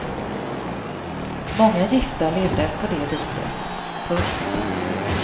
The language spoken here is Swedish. Många gifta levde på det viset. punkt